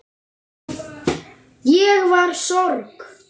Ég var í sorg.